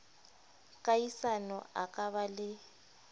kahisano a ka ba le